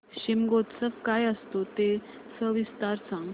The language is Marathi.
शिमगोत्सव काय असतो ते सविस्तर सांग